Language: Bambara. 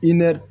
I nɛr